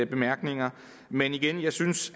bemærkninger men igen jeg synes